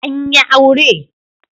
An yi aure?